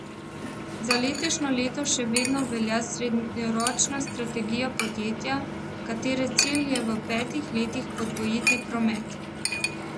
Za letošnje leto še vedno velja srednjeročna strategija podjetja, katere cilj je v petih letih podvojiti promet.